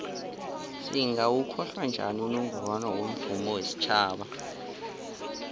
singawokhohla njani unongorwana womvumo wesitjhaba